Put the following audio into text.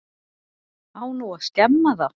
Á nú að skemma það?